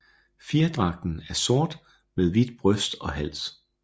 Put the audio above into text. Fjerdragten er sort med hvidt bryst og hals